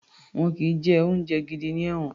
Wọn kì í jẹ oúnjẹ gidi ní ẹ̀wọ̀n